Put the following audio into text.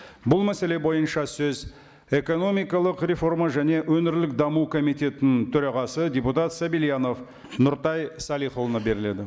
бұл мәселе бойынша сөз экономикалық реформа және өңірлік даму комитетінің төрағасы депутат сабильянов нұртай салихұлына беріледі